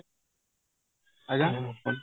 ଆଜ୍ଞା